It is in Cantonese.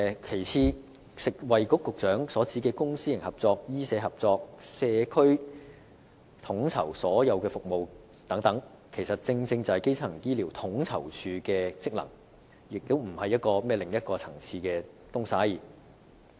其次，食物及衞生局局長所指的公私營合作、醫社合作和在社區統籌所有服務等，其實正正是基層醫療統籌處的職能，並非另一層次的工作。